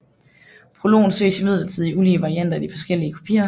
Prologen ses imidlertid i ulige varianter i de forskellige kopier